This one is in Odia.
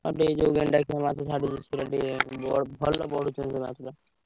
ତାପରେ ଏ ଯୋଉ ଗେଣ୍ଡା ଖିଆ ମାଛ ଛାଡିଛନ୍ତି ସେଇଟା ଟିକେ ଭଲ ବଢୁଛନ୍ତି ମାଛ ଗୁଡା।